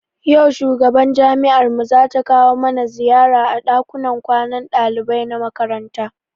Yau shugaban jami'ar mu zata kawo mana ziyara a ɗakunan kwanan ɗalibai na makaranta.